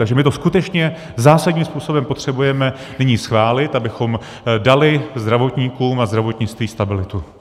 Takže my to skutečně zásadním způsobem potřebujeme nyní schválit, abychom dali zdravotníkům a zdravotnictví stabilitu.